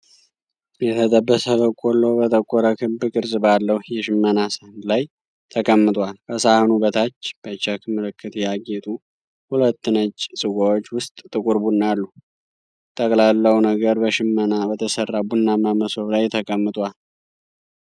የተጠበሰ በቆሎ በጠቆረ፣ ክብ ቅርጽ ባለው የሽመና ሳህን ላይ ተቀምጧል። ከሳህኑ በታች፣ በቼክ ምልክት ያጌጡ ሁለት ነጭ ጽዋዎች ውስጥ ጥቁር ቡና አሉ። ጠቅላላው ነገር በሽመና በተሰራ ቡናማ መሶብ ላይ ተቀምጧል።